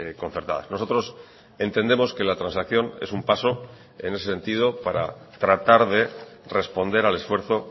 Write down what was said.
concertadas nosotros entendemos que la transacción es un paso en ese sentido para tratar de responder al esfuerzo